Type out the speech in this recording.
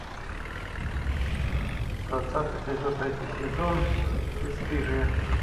двадцатый эпизод третий сезон бесстыжие